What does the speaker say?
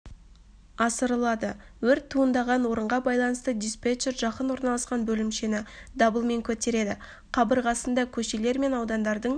асырылады өрт туындаған орынға байланысты диспетчер жақын орналасқан бөлімшені дабылмен көтереді қабырғасында көшелер мен аудандардың